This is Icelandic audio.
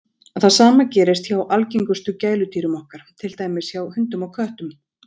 Það sama gerist hjá algengustu gæludýrum okkar, til dæmis hjá hundum og köttum.